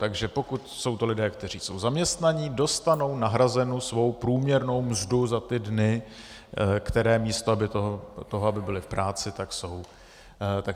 Takže pokud jsou to lidé, kteří jsou zaměstnaní, dostanou nahrazenu svou průměrnou mzdu za ty dny, které místo toho, aby byli v práci, tak jsou tady.